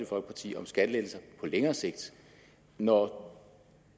folkeparti om skattelettelser på længere sigt når